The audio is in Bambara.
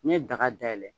N'i ye daga dayɛlɛ